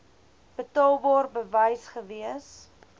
betaalbaar bewys gewees